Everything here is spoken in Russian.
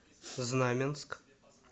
знаменск